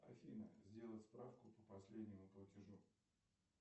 афина сделать справку по последнему платежу